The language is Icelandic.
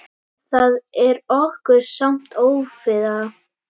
Það er okkur samt ofviða.